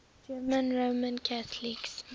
german roman catholics